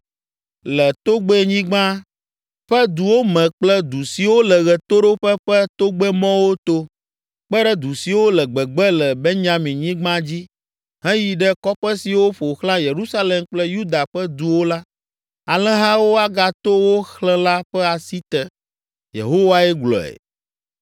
Le togbɛnyigba ƒe duwo me kple du siwo le ɣetoɖoƒe ƒe togbɛmɔwo to, kpe ɖe du siwo le gbegbe le Benyaminyigba dzi, heyi ɖe kɔƒe siwo ƒo xlã Yerusalem kple Yuda ƒe duwo la, alẽhawo agato wo xlẽla ƒe asi te.’ Yehowae gblɔe.